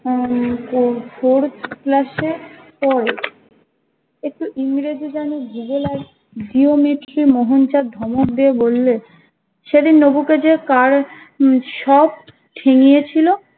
উম four four class এ পরে একটু ইংরেজি জানে ভূগোল আর জেওমেট্রি মোহন চাঁদ ধমক দিয়ে বলল সেদিন নবু কে যে কারা সব ঠেঙিয়ে ছিলো